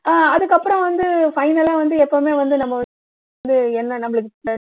ஆஹ் அதுக்கு அப்புறம் வந்து final ஆ வந்து எப்பவுமே வந்து நம்ம வந்து என்ன நம்மளுக்கு